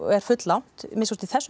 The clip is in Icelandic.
er full langt að minnsta kosti í þessum